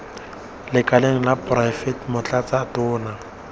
lekaleng la poraefete motlatsa tona